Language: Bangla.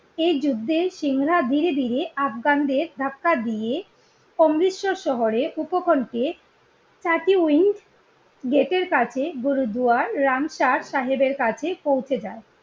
এই যুদ্ধে সিং রা ধীরেধীরে আফগানদের ধাক্কা দিয়ে অমৃতসর শহরের উপকণ্ঠে গেটের কাছে গুরুদুয়ার রামসার সাহেবের কাছে পৌঁছে যায়